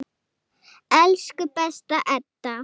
Elsku besta Edda.